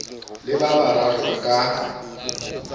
le ba bararo ba ka